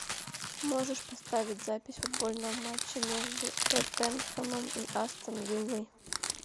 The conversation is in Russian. можешь поставить запись футбольного матча между тоттенхэмом и астон виллой